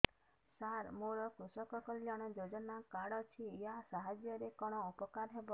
ସାର ମୋର କୃଷକ କଲ୍ୟାଣ ଯୋଜନା କାର୍ଡ ଅଛି ୟା ସାହାଯ୍ୟ ରେ କଣ ଉପକାର ହେବ